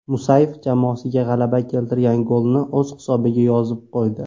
Musayev jamoasiga g‘alaba keltirgan golni o‘z hisobiga yozib qo‘ydi.